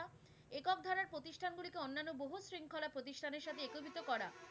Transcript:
প্রবিত করা